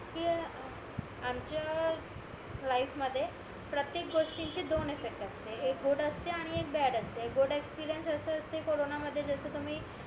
कि आमच्या लाईफ मध्ये प्रत्येक गोष्टींची दोन इफेक्ट असते एक गुड असते आणि एक बॅड असते गुड एक्सपीरिअन्स असे असते कोरोना मध्ये जस तुम्ही